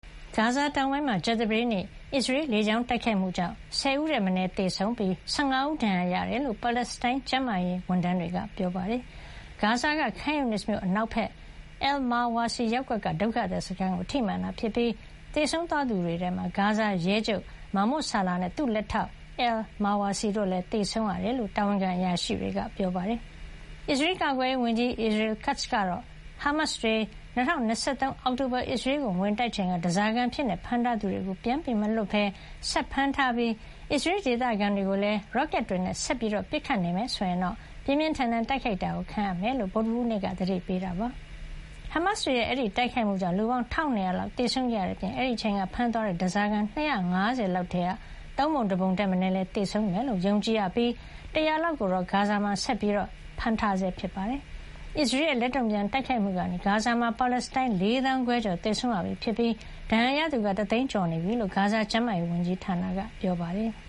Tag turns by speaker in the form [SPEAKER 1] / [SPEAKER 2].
[SPEAKER 1] ဂါဇာ တောင်ပိုင်းမှာ ကြာသပတေးနေ့ အစ္စရေး လေကြောင်းတိုက်ခိုက်မှုကြောင့် ၁၀ ဦးထက် မနည်း သေဆုံးပြီး ၁၅ ဦး ဒဏ်ရာရခဲ့တယ်လို့ ပါလက်စတိုင်း ကျန်းမာရေးဝန်ထမ်း တွေက ပြောပါတယ်။ ဂါဇာ Khan Younis မြို့ အနောက်ဘက် အယ်လ် မာဝါစီ ရပ်ကွက်က ဒုက္ခသည်စခန်းကို ထိမှန်ခဲ့တာ ဖြစ်ပြီး သေဆုံးသွားသူ တွေထဲမှာ ဂါဇာရဲချုပ် မာမွတ် ဆာလာ နဲ့ သူ့လက်ထောက် အယ်လ် မာဝါစီ တို့လည်း သေဆုံးခဲ့ရတယ်လို့ တာဝန်ခံ အရာရှိတွေက ပြောပါတယ်။ အစ္စရေးကာကွယ်ရေး ဝန်ကြီး Israel Katz ကတော့ ဟားမတ်စ်တွေ ၂၀၂၃ အောက်တိုဘာ အစ္စရေးကိုဝင်တိုက်ချိန်က ဓါးစာခံအဖြစ် ဖမ်းထားသူတွေကို ပြန်မလွှတ်ပဲ ဆက်ဖမ်းထားပြီး အစ္စရေးဒေသခံ တွေကို ရော့ကက်တွေနဲ့ ဆက်လက်ပစ်ခတ်နေမယ် ဆိုရင် ပြင်းပြင်းထန်ထန် တိုက်ခိုက်တာ ခံရမှာဖြစ်ကြောင်း ဗုဒ္ဓဟူး နေ့က သတိပေးခဲ့တာပါ။ ဟားမတ်စ်တွေရဲ့ အဲဒီ တိုက်ခိုက်မှုကြောင့် လူပေါင်း ၁၂၀၀ လောက်သေဆုံးခဲ့ရတဲ့ အပြင် အဲဒီအချိန်က ဖမ်းသွားတဲ့ ဓါးစာခံ ၂၅၀ လောက်ထဲက သုံးပုံ တပုံ ထက်မနည်း သေဆုံးသွားမယ်လို့ ယုံကြည်ရပြီး ၁၀၀ လောက်ကိုတော့ ဂါဇာမှာ ဆက်ပြီး အဖမ်းခံနေရဆဲ ဖြစ်ပါတယ်။ အစ္စရေးရဲ့ လက်တုံ့ပြန် တိုက်ခိုက်မှုကနေ ဂါဇာမှာ ပါလက်စတိုင်း ၄သောင်းခွဲကျော် သေဆုံးရပြီ ဖြစ်ပြီး ဒဏ်ရာကသူက ၁ သိန်းကျော်နေပြီလို့ ဂါဇာ ကျန်းမာရေး ဝန်ကြီးဌာနက ပြောပါတယ်။